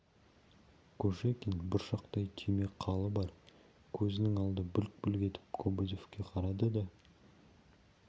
кушекин бұршақтай түйме қалы бар көзінің алды бүлк-бүлк етіп кобозевке қарады да